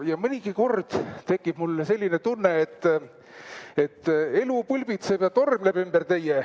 Ja mõnigi kord tekib mul selline tunne, et elu pulbitseb ja tormleb teie ümber.